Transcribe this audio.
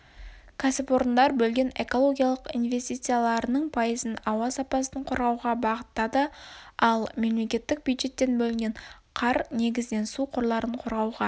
ксіпорындар бөлген экологиялық инвестицияларының пайызын ауа сапасын қорғауға бағыттады ал мемлекеттік бюджеттен бөлінген қар негізінен су қорларын қорғауға